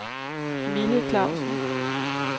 Mille Clausen